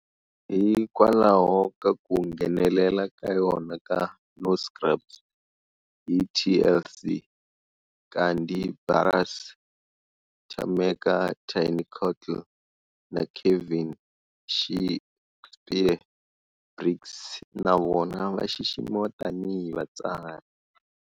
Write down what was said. Hikwalaho ka ku nghenelela ka yona ka" No Scrubs" hi TLC, Kandi Burruss, Tameka"Tiny" Cottle, na Kevin"She'kspere" Briggs na vona va xiximiwa tanihi vatsari.